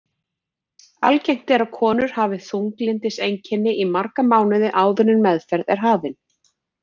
Algengt er að konur hafi þunglyndiseinkenni í marga mánuði áður en meðferð er hafin.